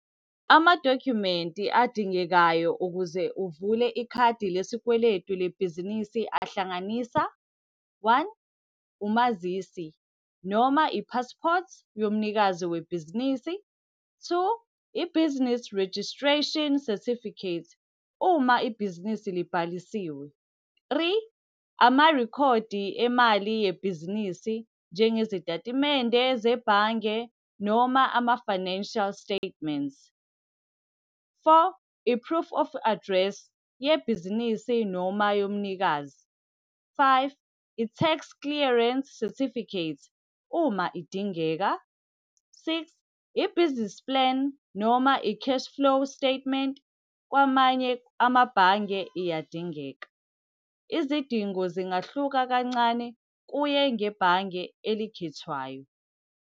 Amadokhumenti adingekayo ukuze uvule ikhadi lesikweletu lebhizinisi ahlanganisa one, umazisi noma i-passport yomnikazi webhizinisi. Two, i-business registration certificate, uma ibhizinisi libhalisiwe. Three amarekhodi emali yebhizinisi, njengezitatimende zebhange noma ama-financial statements. Four, i-proof of address, yebhizinisi noma yomnikazi. Five, i-tax clearance certificate, uma idingeka. Six, i-business plan noma i-cash flow statement, kwamanye amabhange iyadingeka. Izidingo zingahluka kancane, kuye ngebhange elikhethwayo.